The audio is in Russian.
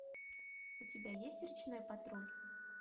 у тебя есть речной патруль